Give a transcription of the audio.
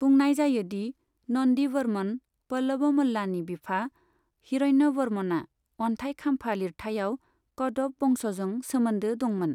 बुंनाय जायो दि नन्दिवर्मन पल्लवमल्लानि बिफा हिरन्यवर्मना अन्थाइ खाम्फा लिरथाइयाव कदव बंशजों सोमोन्दो दंमोन।